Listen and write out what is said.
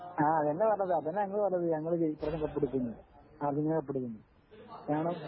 ആ അത് തന്നെയാ പറഞ്ഞത് അത് തന്നെയാ ഞങ്ങള് പറഞ്ഞത് ഞങ്ങള് ഈ പ്രാവശ്യം കപ്പടിക്കും എന്ന് അർജന്റീന കപ്പടിക്കും ന്നു